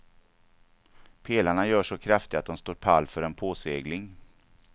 Pelarna görs så kraftiga att de står pall för en påsegling.